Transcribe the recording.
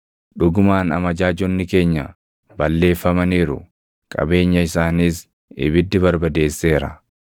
‘Dhugumaan amajaajonni keenya balleeffamaniiru; qabeenya isaaniis ibiddi barbadeesseera.’